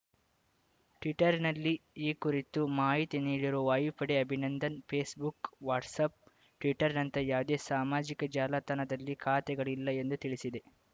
ಟ್ವೀಟರ್‌ನಲ್ಲಿ ಈ ಕುರಿತು ಮಾಹಿತಿ ನೀಡಿರುವ ವಾಯುಪಡೆ ಅಭಿನಂದನ್‌ ಫೇಸ್‌ಬುಕ್‌ ವಾಟ್ಸಾಫ್‌ ಟ್ವಿಟ್ಟರ್‌ನಂತಹ ಯಾವುದೇ ಸಾಮಾಜಿಕ ಜಾಲತಾಣದಲ್ಲಿ ಖಾತೆಗಳಿಲ್ಲ ಎಂದು ತಿಳಿಸಿದೆ